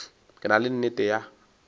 ke na le nnete ya